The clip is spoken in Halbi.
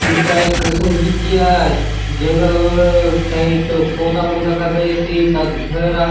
हुंथा ए कसन बीती आय जंगल टाइप चो पौधा मन दखा दयेसे एथा घर आसे।